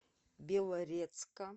белорецка